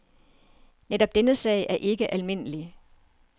Netop denne sag er ikke almindelig.